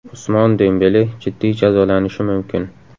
Usmon Dembele jiddiy jazolanishi mumkin.